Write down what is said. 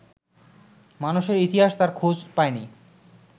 মানুষের ইতিহাস তার খোঁজ পায়নি